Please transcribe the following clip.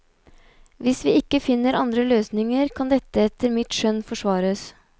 Hvis vi ikke finner andre løsninger, kan dette etter mitt skjønn forsvares.